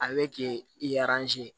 A bɛ k'i i